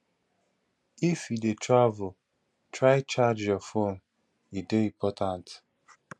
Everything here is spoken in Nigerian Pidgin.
if you dey travel try charge your phone e dey important